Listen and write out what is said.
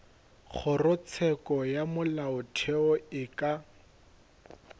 kgorotsheko ya molaotheo e ka